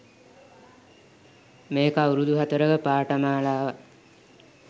මේක අවුරුදු හතරක පාඨමාලාවක්.